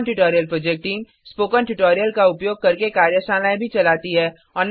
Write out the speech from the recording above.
spoken tutorial project team spoken tutorial का उपयोग करके कार्यशालाएँ भी चलाती है